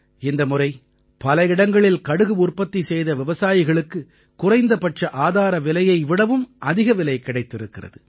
இந்த முறை பல இடங்களில் கடுகு உற்பத்தி செய்த விவசாயிகளுக்கு குறைந்தபட்ச ஆதார விலையை விடவும் அதிக விலை கிடைத்திருக்கிறது